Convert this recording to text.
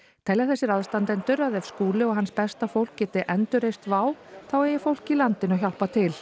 telja þessir aðstandendur að ef Skúli og hans besta fólk geti endurreist WOW þá eigi fólki í landinu að hjálpa til